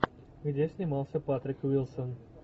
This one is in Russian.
где снимался патрик уилсон